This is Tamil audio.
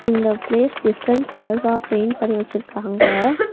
இந்த பிளேஸ் டிஃபரென்ட் கலர்சா பெயிண்ட் பண்ணி வெச்சுருக்காங்க.